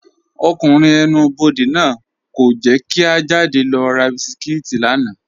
Ọkùnrin ẹ̀nù-bọdẹ̀ náà kò jẹ́ kí à jádẹ̀ lọ rà bísikítì lána.